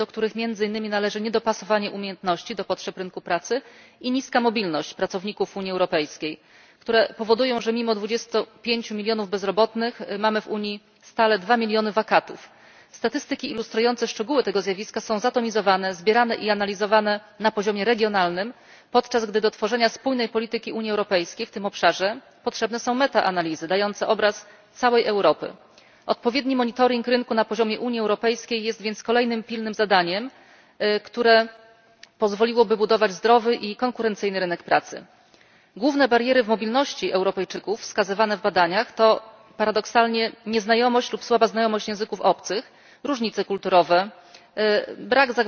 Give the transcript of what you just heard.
Panie Przewodniczący! Szanowni Państwo! Europejski rynek pracy zmaga się obecnie z wieloma problemami, do których należy między innymi niedopasowanie umiejętności do potrzeb rynku pracy i niska mobilność pracowników Unii Europejskiej, które powodują, że mimo dwudziestu pięciu milionów bezrobotnych mamy w Unii stale dwa miliony wakatów. Statystyki ilustrujące szczegóły tego zjawiska są zatomizowane, zbierane i analizowane na poziomie regionalnym, podczas gdy do tworzenia spójnej polityki Unii Europejskiej w tym obszarze potrzebne są metaanalizy dające obraz całej Europy. Odpowiedni monitoring rynku na poziomie Unii Europejskiej jest więc kolejnym pilnym zadaniem, które pozwoliłoby budować zdrowy i konkurencyjny rynek pracy. Główne bariery w mobilności Europejczyków wskazywane w badaniach to, paradoksalnie, nieznajomość lub słaba znajomość języków obcych, różnice kulturowe,